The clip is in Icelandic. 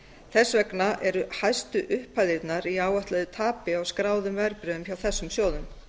þess vegna eru hæstu upphæðirnar í áætluðu tapi á skráðum verðbréfum hjá þessum sjóðum